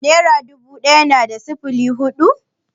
Nera dubu ɗaya na da sifili hudu?